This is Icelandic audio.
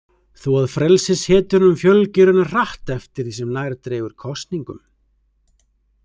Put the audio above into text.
Þó að frelsishetjunum fjölgi raunar hratt eftir því sem nær dregur kosningum.